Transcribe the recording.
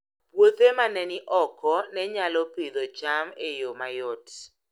Puothe ma ne ni oko ne nyalo Pidhoo cham e yo mayot